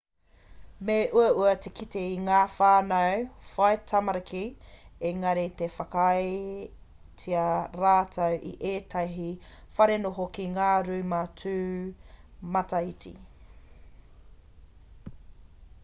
me uaua te kite i ngā whānau whai tamariki engari ka whakaaetia rātou e ētahi wharenoho ki ngā rūma tūmataiti